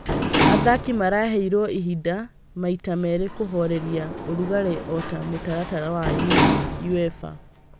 Athaki maraheirwo ihinda maita merĩ kuhoreria ũrugarĩ ota mũtaratara wa Uefa